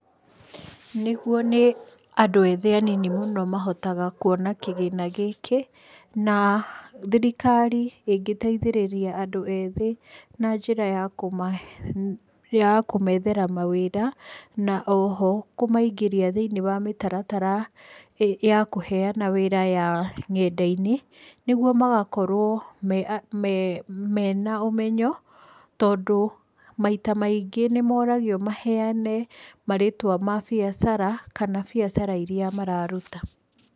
Nĩguo nĩ andũ ethĩ anini mũno mahotaga kuona kĩgĩna gĩkĩ, na thirikari ĩngĩteithĩrĩria andũ ethĩ na njĩra ya kũmethera mawĩra na oho kũmaingĩria thĩinĩ wa mĩtaratara ya kũheana wĩra ya ng'enda-inĩ, nĩguo magakorwo mena ũmenyo tondũ maita maingĩ nĩ moragio maheane marĩtwa ma biacara kana biacara iria mararuta.